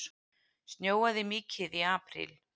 Snjóaði mikið í apríl?